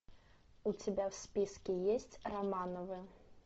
у тебя в списке есть романовы